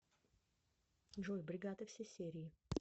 джой бригада все серии